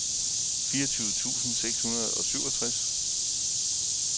fireogtyve tusind seks hundrede og syvogtres